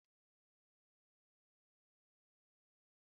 Akụkọ oge ụra kacha mma